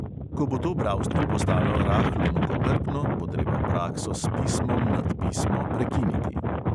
Ko bo to bralstvu postalo rahlo mukotrpno, bo treba prakso s pismom nad pismo prekiniti.